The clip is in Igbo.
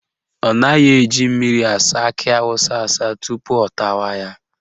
Ọ naghị eji mmiri asa akị awụsa asa tupu ọ tawa ya